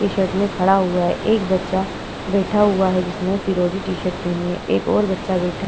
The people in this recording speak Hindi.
टी शर्ट में खड़ा हुआ है। एक बच्चा बैठा हुआ है जिसने फिरोजी टी शर्ट पहनी एक और बच्चा बैठा--